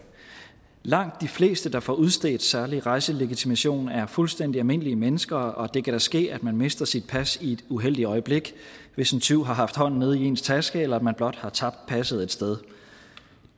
langt de fleste der får udstedt særlig rejselegitimation er fuldstændig almindelige mennesker og det kan da ske at man mister sit pas i et uheldigt øjeblik hvis en tyv har haft hånden nede i ens taske eller man blot har tabt passet et sted